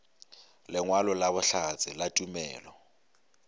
lengwalo la bohlatse la tumelelo